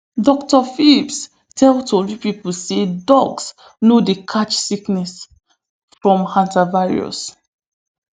dr phipps tell tori pipo say dogs no dey catch sickness from hantavirus